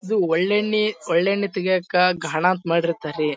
ಇದು ಒಳ್ಳೆಯೆಣ್ಣೆ ಒಳ್ಳೆಯೆಣ್ಣೆ ತೆಗಿಯಕ್ಕೆ ಘಾನಾ ಅಂತ್ ಮಾಡಿರ್ ತಾರರಿ -